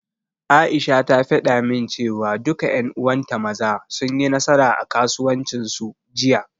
Aisha ta faɗa min, cewa duka ƴan uwan ta Maza, sun yi nasara a kasuwancin su, Jiya.